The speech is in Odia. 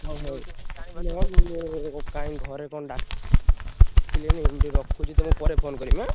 ହଉ ହଉ କାଇଁ ଘରେ କଣ ଡା କିଲେଣି ମୁଁ ଟିକେ ରଖୁଛି ତମେ ପରେ phone କରିବ ଏଁ।।